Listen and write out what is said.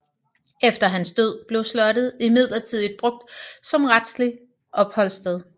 Efter hans død blev slottet midlertidigt brugt som retsligt opholdssted